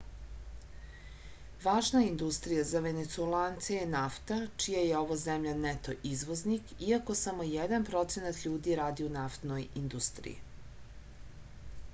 važna industrija za venecuelance je nafta čiji je ova zemlja neto izvoznik iako samo jedan procenat ljudi radi u naftnoj industriji